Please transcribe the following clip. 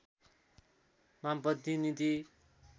वामपन्थी नीति